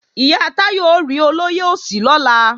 Ìyá Táyọ̀ ó rí olóyè Òsì lọ́la